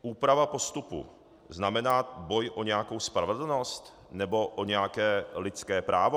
Úprava postupu znamená boj o nějakou spravedlnost nebo o nějaké lidské právo?